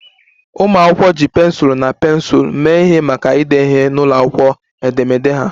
Ụmụ akwụkwọ ji pensụl na pensụl mee ihe maka ide ihe n'akwụkwọ edemede ha